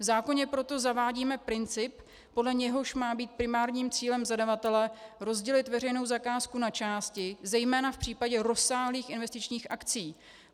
V zákoně proto zavádíme princip, podle něhož má být primárním cílem zadavatele rozdělit veřejnou zakázku na části, zejména v případě rozsáhlých investičních akcí.